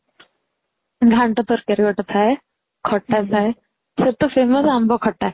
ଘଣ୍ଟା ତରକାରୀ ଗୋଟେ ଥାଏ ଖଟା ଥାଏ ଛୋଟ ରେ ଆମ୍ବ ଖଟା